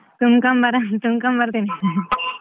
ತುಂಬ್ಕೊಂಡ್ ಬರಮ ತುಂಬ್ಕೊಂಡ್ ಬರ್ತೀನಿ.